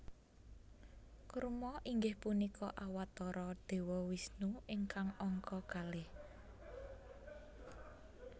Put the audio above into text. Kurma inggih punika Awatara Dewa Wisnu ingkang angka kalih